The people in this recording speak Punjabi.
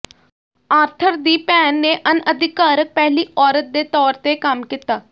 ਆਰਥਰ ਦੀ ਭੈਣ ਨੇ ਅਣਅਧਿਕਾਰਕ ਪਹਿਲੀ ਔਰਤ ਦੇ ਤੌਰ ਤੇ ਕੰਮ ਕੀਤਾ